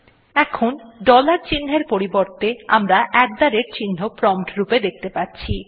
এখন ডলার চিহ্নর পরিবর্তে আমরা আত থে রাতে চিহ্ন প্রম্পট রূপে দেখতে পাচ্ছি